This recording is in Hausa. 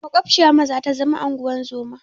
Maƙwabciyarmu zata zama unguwar zoma.